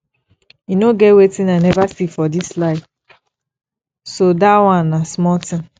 e no get wetin i never see for dis life so dat one na small thing